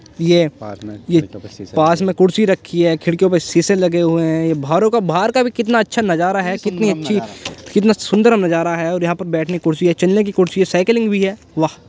ये पास में कुर्सी रखी हुई है । खिड़की में शीशे लगे हुए हैं बाहरो का बाहर का कितना अच्छा नजारा है कितनी अच्छी कितना सुंदर नज़ारा है और यहाँ पर बैठने की कुर्सी है चलने की कुर्सी है साइकिलिंग भी है वाह !